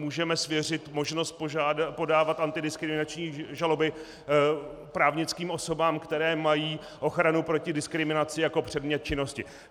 Můžeme svěřit možnost podávat antidiskriminační žaloby právnickým osobám, které mají ochranu proti diskriminaci jako předmět činnosti.